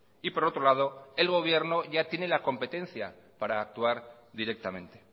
y por otro lado el gobierno ya tiene la competencia para actuar directamente